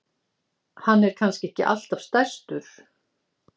Hann er kannski alltaf stærstur?